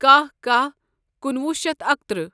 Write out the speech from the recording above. کَہہ کَہہ کُنوُہ شیتھ اکتٕرہ